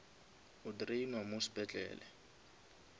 o drainwa mo sepetlele